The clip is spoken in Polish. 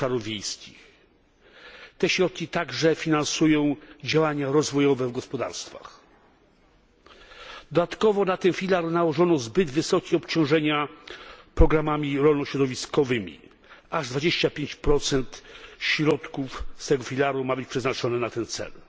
rozwój obszarów wiejskich. Te środki także finansują działania rozwojowe w gospodarstwach. Dodatkowo na ten filar nałożono zbyt wysokie obciążenia programami rolno środowiskowymi aż 25 środków z tego filara ma być przeznaczone na ten cel.